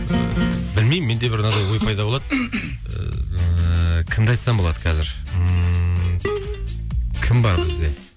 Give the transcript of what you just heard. білмеймін менде бір мынандай ой пайда болады ыыы кімді айтсам болады қазір ммм кім бар бізде